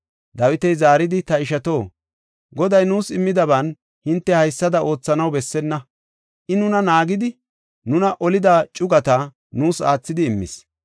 Dawiti zaaridi, “Ta ishato, Goday nuus immidaban hinte haysada oothanaw bessenna. I nuna naagidi, nuna olida cugata nuus aathidi immis.